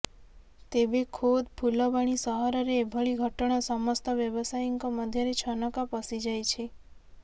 ତେବେ ଖୋଦ୍ ଫୁଲବାଣୀ ସହରରେ ଏଭଳି ଘଟଣା ସମସ୍ତ ବ୍ୟବସାୟୀଙ୍କ ମଧ୍ୟରେ ଛନକା ପଶିଯାଇଛି